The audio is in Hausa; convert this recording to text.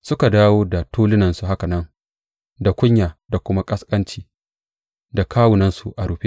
Suka dawo da tulunansu haka nan; da kunya da kuma ƙasƙanci, da kawunansu a rufe.